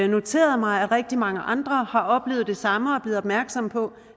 noteret mig at rigtig mange andre har oplevet det samme og er blevet opmærksomme på